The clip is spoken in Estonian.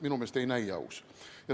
Minu meelest ei näi aus.